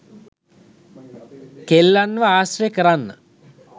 කෙල්ලන්ව ආශ්‍රය කරන්න